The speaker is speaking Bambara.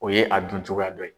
O ye a dun cogoya dɔ ye.